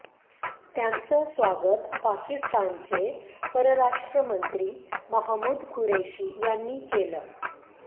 त्यांचं स्वागत पाकिस्तानचे परराष्ट्रमंत्री महमूद कुरेशी यांनी केलं